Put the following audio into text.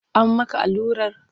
An maka allurar?